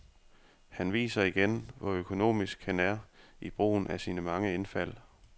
Han viser igen, hvor økonomisk han er i brugen af sine mange indfald.